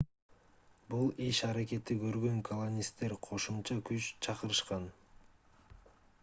бул иш-аракетти көргөн колонисттер кошумча күч чакырышкан